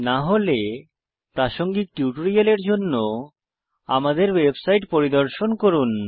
না হলে প্রাসঙ্গিক টিউটোরিয়ালের জন্য আমাদের ওয়েবসাইট পরিদর্শন করুন